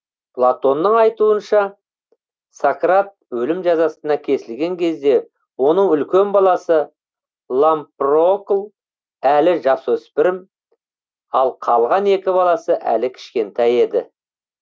платонның айтуынша сократ өлім жазасына кесілген кезде оның үлкен баласы лампрокл әлі жасөспірім ал қалған екі баласы әлі кішкентай еді